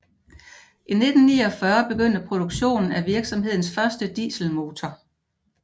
I 1949 begyndte produktionen af virksomhedens første dieselmotor